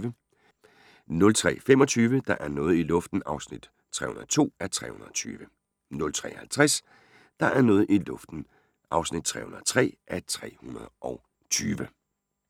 03:25: Der er noget i luften (302:320) 03:50: Der er noget i luften (303:320)